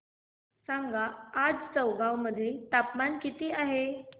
सांगा आज चौगाव मध्ये तापमान किता आहे